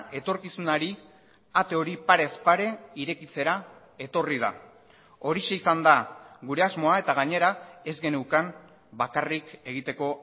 etorkizunari ate hori parez pare irekitzera etorri da horixe izan da gure asmoa eta gainera ez geneukan bakarrik egiteko